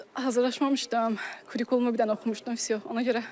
Hazırlaşmamışdım, kurikulumu bir dənə oxumuşdum, vsyo.